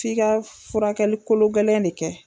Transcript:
F'i ka furakɛli kolo gɛlɛn de kɛ.